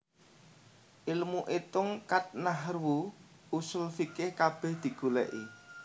Ilmu itung khat Nahwu Ushul fiqih kabeh digoleki